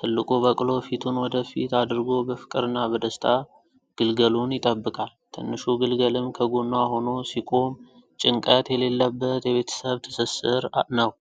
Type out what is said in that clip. ትልቁ በቅሎ ፊቱን ወደ ፊት አድርጎ በፍቅርና በደስታ ግልገሉን ይጠብቃል። ትንሹ ግልገልም ከጎኗ ሆኖ ሲቆም ጭንቀት የሌለበት የቤተሰብ ትስስር ነው።